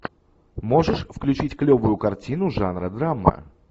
можешь включить клевую картину жанра драма